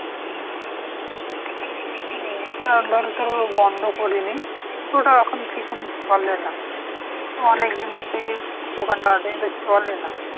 না ওটা ধর তোর বন্ধ করিনি কিন্তু ওটা এখন ঠিকমত চলে না। অনেকদিন থেকেই দোকানটা আছে কিন্তু চলে না।